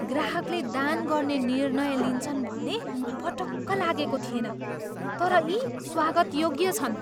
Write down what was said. ग्राहकले दान गर्ने निर्णय लिन्छन् भन्ने पटक्क लागेको थिएन, तर यी स्वागतयोग्य छन्।